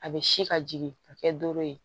A bɛ si ka jigin ka kɛ doro ye